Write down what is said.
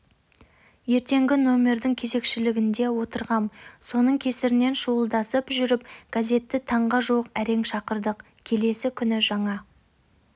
ертеңгі нөмірдің кезекшілігінде отырғам соның кесірінен шуылдасып жүріп газетті таңға жуық әрең шығардық келесі күні жаңа